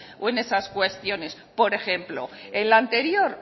o en esas cuestiones por ejemplo el anterior